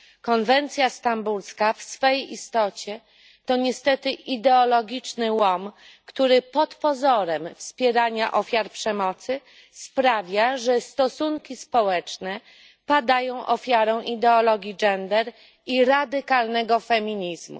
Konwencja stambulska w swej istocie to niestety ideologiczny łom, który pod pozorem wspierania ofiar przemocy sprawia, że stosunki społeczne padają ofiarą ideologii gender i radykalnego feminizmu.